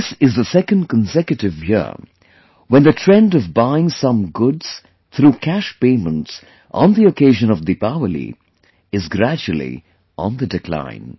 This is the second consecutive year when the trend of buying some goods through cash payments on the occasion of Deepawali is gradually on the decline